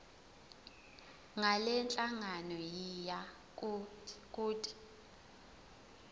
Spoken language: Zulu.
ngalenhlangano yiya kut